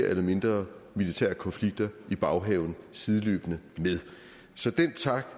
eller mindre militære konflikter i baghaven sideløbende med så den tak